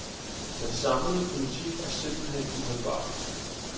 Den samlede politik er simpelthen uholdbar.